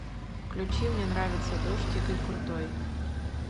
включи мне нравится дождь игорь крутой